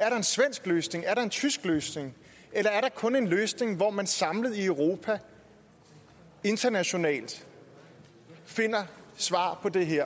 er der en svensk løsning er der en tysk løsning eller er der kun den løsning at man samlet i europa internationalt finder svar på det her